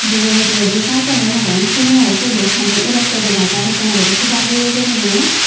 jey mujugadi serkalun agon seguno sod ow pani oratay dega jer akkan guri seda jeya guri nay.